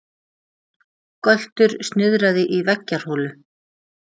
Göltur snuðraði í veggjarholu.